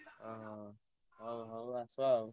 ହଁ ହଁ ହୋଉ ହୋଉ ଆସ ଆଉ।